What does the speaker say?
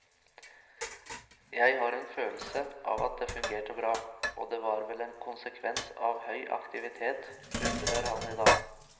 Jeg har en følelse av at det fungerte bra, og det var vel en konsekvens av høy aktivitet, undrer han i dag.